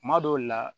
Kuma dɔw la